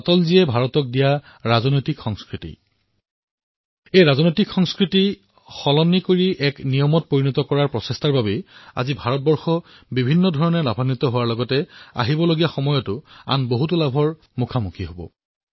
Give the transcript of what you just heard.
অটলজীয়ে ভাৰতক যি ৰাজনৈতিক সংস্কৃতি প্ৰদান কৰিলে ৰাজনৈতিক সংস্কৃতিত যি পৰিৱৰ্তন কৰিবলৈ প্ৰয়াস কৰিলে তাক প্ৰণালীৰ ভিতৰত আনিবলৈ যি প্ৰয়াস কৰিলে আৰু যাৰ বাবে ভাৰতৰ বহু লাভ হল আৰু অনাগত দিনসমূহতো বহু লাভ হব